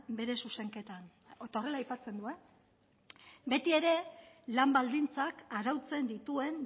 bere zuzenketan eta horrela aipatzen du beti ere lan baldintzak arautzen dituen